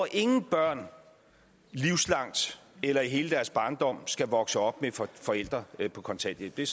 ingen børn livslangt eller i hele deres barndom skal vokse op med forældre på kontanthjælp det